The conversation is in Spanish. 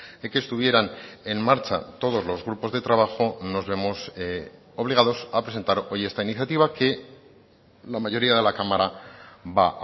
de que estuvieran en marcha todos los grupos de trabajo nos vemos obligados a presentar hoy esta iniciativa que la mayoría de la cámara va